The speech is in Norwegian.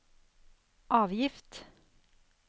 avgift